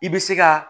I bɛ se ka